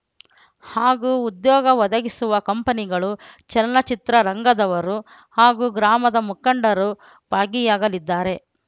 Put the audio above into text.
ಹಾಗೂ ಉದ್ಯೋಗ ಒದಗಿಸುವ ಕಂಪನಿಗಳು ಚಲನಚಿತ್ರ ರಂಗದವರು ಹಾಗೂ ಗ್ರಾಮದ ಮುಖಂಡರು ಭಾಗಿಯಾಗಲಿದ್ದಾರೆ